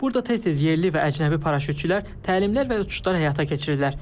Burda tez-tez yerli və əcnəbi paraşütçülər təlimlər və uçuşlar həyata keçirirlər.